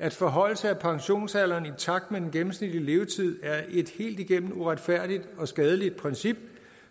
at forhøjelse af pensionsalderen i takt med den gennemsnitlige levetid er et helt igennem uretfærdigt og skadeligt princip